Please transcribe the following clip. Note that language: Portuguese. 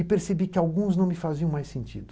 E percebi que alguns não me faziam mais sentido.